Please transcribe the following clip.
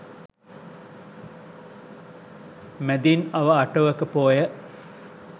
මැදින් අව අටවක පෝය